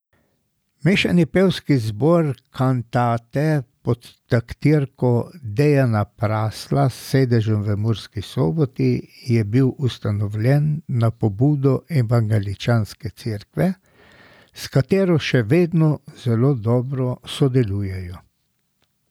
Mešani pevski zbor Cantate pod taktirko Dejana Prasla s sedežem v Murski Soboti je bil ustanovljen na pobudo Evangeličanske cerkve, s katero še vedno zelo dobro sodelujejo.